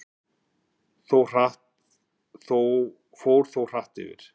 Fór þó hratt yfir.